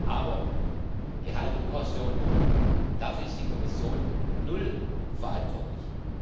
Aber Gehalt und Pension dafür ist die Kommission null verantwortlich.